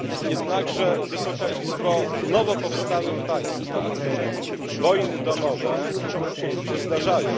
Jednakże, Wysoka Izbo, w nowo powstałych państwach wojny domowe się zdarzają.